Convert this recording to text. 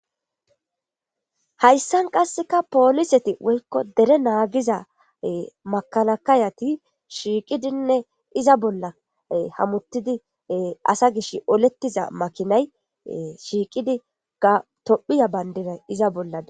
Hayssan qassekka poliseti woykko dere naagiza makalakayeti shiiqidinne iza bolla hamutidinne asa gishi oletida makiinay shiiqidi tophiya bandiray iza bolla dees.